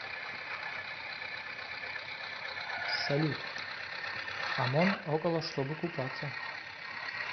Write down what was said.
салют амон около чтобы купаться